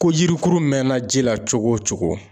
Ko jirikuru mɛnna ji la cogo o cogo.